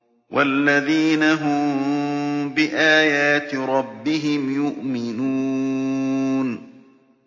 وَالَّذِينَ هُم بِآيَاتِ رَبِّهِمْ يُؤْمِنُونَ